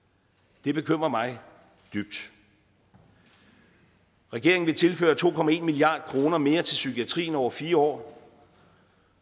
det bekymrer mig dybt regeringen vil tilføre to milliard kroner mere til psykiatrien over fire år